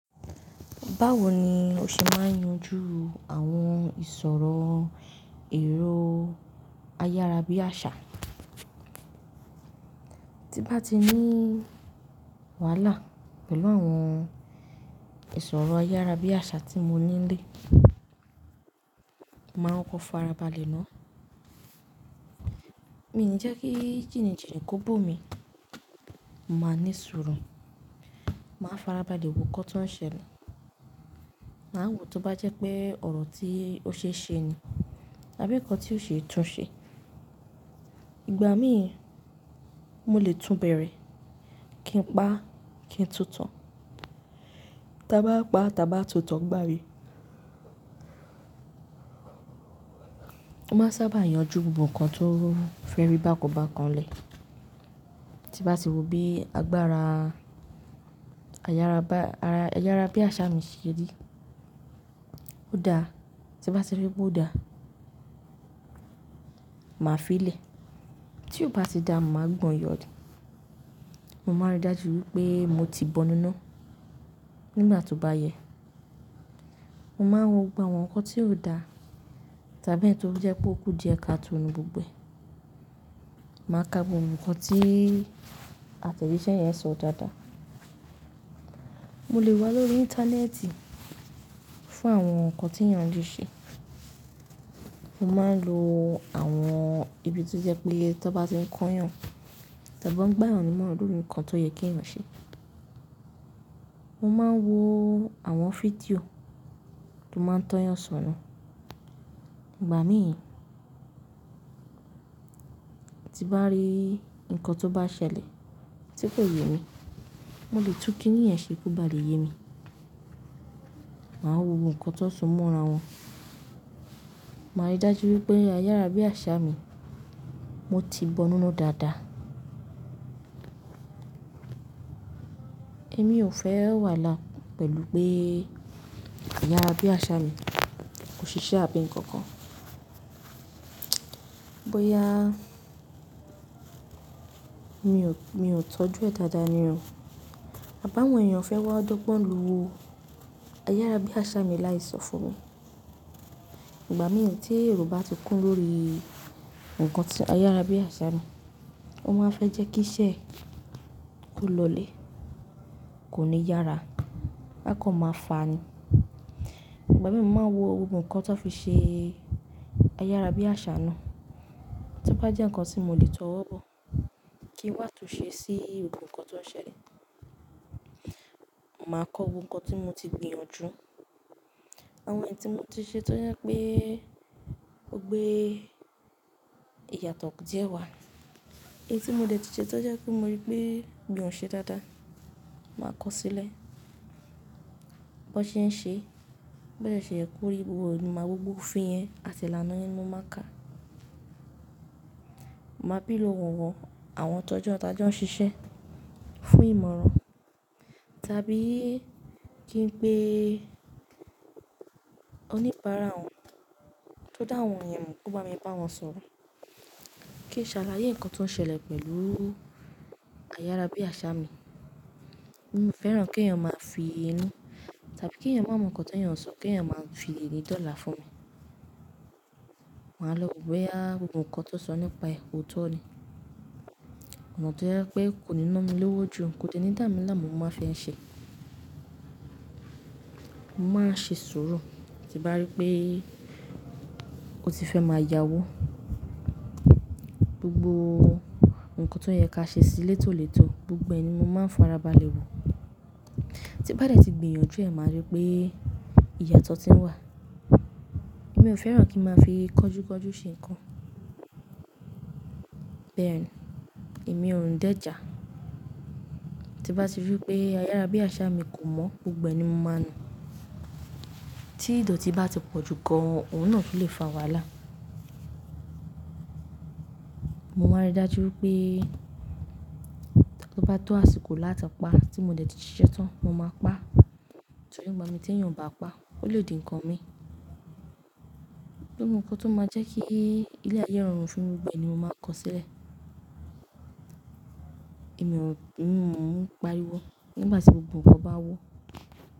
Báwo ni o ṣe máa ń yanjú àwọn ìṣòro èrò ayárabíàṣá? Tí n bá ti ní wàhálà pẹ̀lú àwọn ìṣòro ayárabíàṣá tí mo nílé, màá ń kọ farabalẹ̀ náà. Mi ní jẹ́ kí jìnìjìnì kó bó mi, mo má ní sùúrù. Màá farabalẹ̀ wo nkan tó ń ṣẹlẹ̀, màá wo tó bá jẹ́ pé ọ̀rọ̀ tí ó ṣe é ṣe ni àbí nǹkan tí ó ṣe é tún ṣe. Ìgbà míì, mo lè túnbẹ̀rẹ̀ kí n pa, kí n tutàn. Taba pa, taba tuntàn ngba mi. Mo máa sábà yanjú gbogbo nǹkan tó fẹ́rí bá kan bá kan lẹ̀. Tí n bá ti wo bí agbára ayárabíàṣá mi ṣe rí, ó dáa. Tí n bá ti rí pé ó dáa, màá fi lè. Tí ó bá ti dá, mo máa ń gbọ́n yọ. Mo máa ń rí dájú wípé mo ti bọ́nu iná nígbà tó bá yẹ. Mo máa ń wo gbogbo àwọn nǹkan tí ó dáa tàbí èyí tó jẹ́ pé ó kú díẹ̀ káàtò nú gbogbo ẹ. Màá ka gbogbo nǹkan tí àtẹ̀jíṣẹ́ yẹn sọ dáadáa. Mo lè wá lórí íńtánẹ́ẹ̀tì fún àwọn nǹkan tí èyàn le ṣe. Mo máa ń lo àwọn ibi tó jẹ́ pé tan bá ti ń kọyan, tan bá ń gbayan nímọ́ràn lórí ǹkan tó yẹ kí èyàn ṣe. Mo máa ń wo àwọn fídíò tó máa ń tọ́yàn sọ́nà. Ìgbà míì, tí n bá rí nǹkan tó bá ṣẹlẹ̀ tí kò yé mi, mo lè tún kíni yẹn ṣe kó bá lè yé mi. Màá wo gbogbo nkan tó so mọ́ra wọn. Màá rí dájú wípé ayárabíàṣá mi, mo ti bọ́nu iná dáadáa. Èmi ò fẹ́ wàhálà pẹ̀lú pé ayárabíàṣá mi kò ṣiṣẹ́ àbí ǹkankan. Bó yá, mi ò tọ́jú ẹ dáadáa ni o. Àbá àwọn èèyàn fẹ́ wá dọ́gbọ́n lo ayárabíàṣá mi láì sọ fún mi. Ìgbà míì tí èrò bá ti kún lórí nǹkan tí ayárabíàṣá mi, ó máa fẹ́ jẹ́ kí iṣẹ́ kó lọlẹ̀, kò ní yára. Á kan máa fàá ni. Ìgbà míì mo máa wo gbogbo nǹkan tan fi ṣe ayárabíàṣá náà. Tó bá jẹ́ nǹkan tí mo lè tọ́wọ́ bọ, kí wà tó ṣe sí gbogbo nǹkan tó ń ṣẹlẹ̀, màá kọ́ wo nǹkan tí mo ti gbìyànjú. Àwọn èyí tí mo ti ṣe tó jẹ́ pé ó gbé ìyàtọ̀ díẹ̀ wá, èyí tí mo dẹ̀ ti ṣe tó jẹ́ pé mo rí pé mi ò ṣe dáadáa, màá kọ sílẹ̀. Bọ́ ṣe ń ṣe, bó dẹ̀ ṣẹ yẹ kórí gbogbo ìmọ̀ gbogbo òfin yẹn àti ìlànà yẹn ni mo mákà. Màá bèrè lóòwọ́ àwọn tọjọ tajọ ń ṣiṣẹ́ fún ìmọ̀ràn tàbí kí n pé oníbàárà wọn tó dá àwọn ẹ̀yan mọ̀ kó bá mi bá wọn sọ̀rọ̀. Kíì n ṣàlàyé nǹkan tó ń ṣẹlẹ̀ pẹ̀lú ayárabíàṣá mi. Mi ò fẹ́ràn kí èèyàn máa fi inú tàbí kí èèyàn máa mọ nǹkan tí èèyàn ń sọ kí ènìyàn máa fi éni dọ́là fún mi. Màá lọ wò bóyá gbogbo nǹkan tó sọ nípa ẹ òtọ́ ni. Ọ̀nà tó jẹ́ pé kò ní ná mi lówó jù kò dẹ̀ ní dà mí láàmú mo máa fi ń ṣe. Mo máa ṣe sùúrù tí n bá rí pé ó ti fẹ́ máa yáwó. Gbogbo nǹkan tó yẹ ká sí létòlètó gbogbo ẹ ni mo máa ń farabalẹ̀ wò. Tí n bá dẹ ti gbìyànjú ẹ, máa rí pé ìyàtọ̀ tí ń wà. Èmi ò fẹ́ràn kí n máa fi kánjú kánjú ṣe nǹkan. Bẹ́ẹ̀ni, èmi òun dẹ̀ jà. Tí n bá ti rí pé ayárabíàṣá mi kò mọ́ gbogbo ẹ ni mo máa nu. Tí ìdọ̀tí bá ti pọ̀ jù gan, òun náà tún ló lè fa wàhálà. Mo máa rí dájú wípé tó bá tó àsìkò láti pa tí mo dẹ̀ ti ṣiṣẹ́ tán, mo máa pa. Torí ngbami tí èèyàn ò bá pa, ó lè di ǹkan mi. Gbogbo nǹkan tó máa jẹ́ kí ilé ayé rọrùn fún mi gbogbo ẹ ni mo máa kọ sílẹ̀. Èmi ò, èmi ò ń pariwo. Nígbà tí gbogbo nǹkan bá wó.